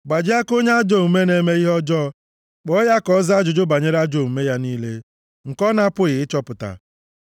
Gbajie aka onye ajọ omume a na-eme ihe ọjọọ, kpọọ ya ka ọ zaa ajụjụ banyere ajọ omume ya niile nke a na-apụghị ịchọpụta.